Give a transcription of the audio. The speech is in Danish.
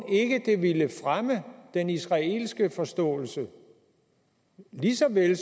ikke det ville fremme den israelske forståelse lige så vel